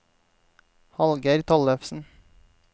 Hallgeir Tollefsen